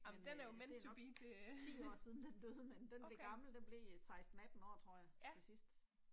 Men øh det er nok 10 år siden den døde, men den blev gammel, den blev 16 18 år tror jeg, til sidst